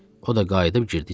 O da qayıdıb girdi içəri.